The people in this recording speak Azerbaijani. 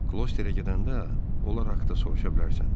Klosrerə gedəndə onlar haqda soruşa bilərsən.